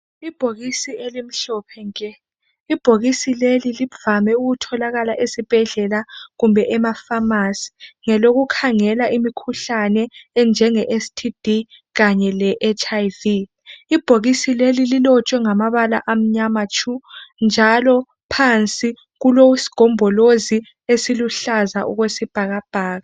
ibhokisi elimhlophe nke ibhokisi leli livame ukutholakala esibhedlela kumbe ema phamarcy ngelokukhangela imikhuhlane enjenge STD kanye le HIV ibhokisi leli lilotshwe ngamabala amnyama tshu njalo phansi kulesigombolozi esiluhlaza okwesibhakabhaka